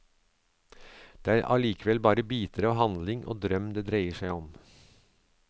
Det er allikevel bare biter av handling og drøm det dreier seg om.